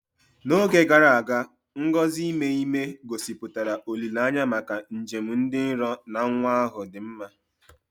N'oge gara aga, ngọzi ime ime, gosipụtara olileanya maka njem dị nro na nwa ahụ dị mma.